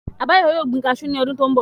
Àbáyọ̀mí yóò gbin kaasú ní ọdún tó n bọ̀